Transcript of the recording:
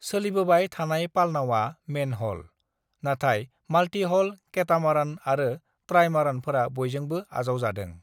"सोलिबोबाय थानाय पालनावआ मेनह'ल, नाथाय माल्टी-ह'ल केटामारन आरो ट्राइमारानफोरा बयजोंबो आजावजादों।"